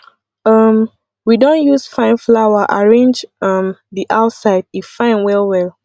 um we don use fine flower arrange um di outside e fine well well